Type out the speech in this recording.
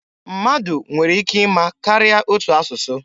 Mmadụ nwere ike ịma karịa otu asụsụ.